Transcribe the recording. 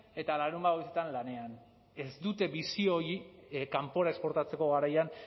eta larunbat goizetan lanean ez dute bisio hori kanpora esportatzeko garaian